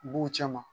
U b'u cɛ ma